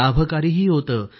लाभकारीही होते